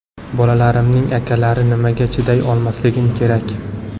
Bolalarimning akalari, nimaga chiday olmasligim kerak?